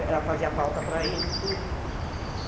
Ela fazia falta para ele e tudo.